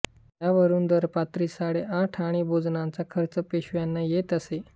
यावरून दरपात्री साडे आठ आणे भोजनाचा खर्च पेशव्यांना येत असे